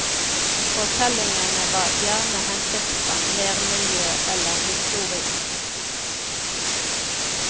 Fortellingene var gjerne hentet fra nærmiljøet eller historien.